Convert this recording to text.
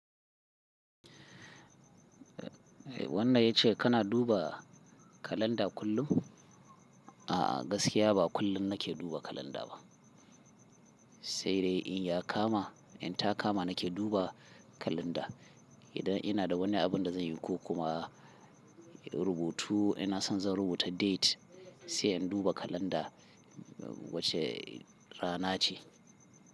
Wannan ya ce kana duba kalanda kullum. A'a, gaskiya ba kullum nake duba kalanda ba. Sai dai in ya kama, in ta kama nake duba kalanda. Idan ina da wani abin da zan yi ko kuma rubutu ina son zan rubuta date sai in duba kalanda wace rana ce.